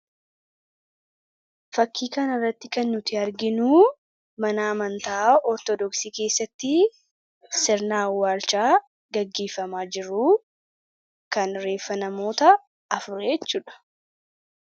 Fakkii kana irratti kan nuti arginu mana amantaa ortodoksii keessatti sirna awwaalchaa gaggeeffamaa jiru. Kan reeffa namoota afurii jechuudha.